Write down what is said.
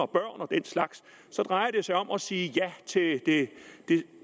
og den slags så drejer det sig om at sige ja